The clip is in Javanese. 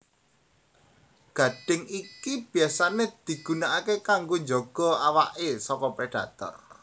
Gadhing iki biyasané digunakaké kanggo njaga awaké saka predator